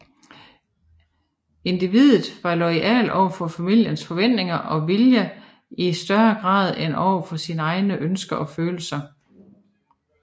Individet var loyalt over for familiens forventninger og vilje i større grad end over for sine egne ønsker og følelser